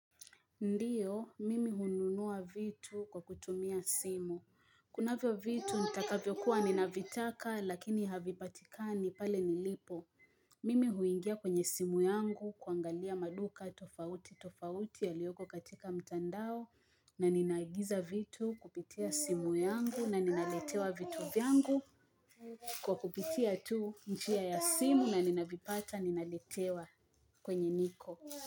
Ndiyo, mimi hununua vitu kwa kutumia simu. Kunavyo vitu, nitakavyokuwa, ninavitaka, lakini havipatikani pale nilipo. Mimi huingia kwenye simu yangu kuangalia maduka tofauti tofauti yaliyoko katika mtandao na ninaagiza vitu kupitia simu yangu na ninaletewa vitu vyangu kwa kupitia tu njia ya simu na ninavipata ninaletewa kwenye niko.